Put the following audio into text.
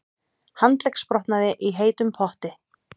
Handleggsbrotnaði í heitum potti